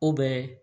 O bɛ